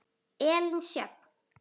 Elín Sjöfn.